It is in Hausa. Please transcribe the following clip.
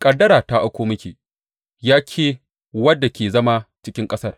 Ƙaddara ta auko miki, ya ke wadda ke zama cikin ƙasar.